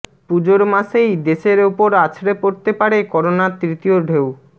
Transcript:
পুজোর মাসেই দেশের ওপর আছড়ে পড়তে পারে করোনার তৃতীয় ঢেউ